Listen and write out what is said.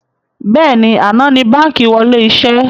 Bẹ́ẹ̀ni, àná ni báńkì wọlé iṣẹ́